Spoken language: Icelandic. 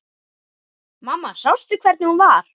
Mamma sástu hvernig hún var?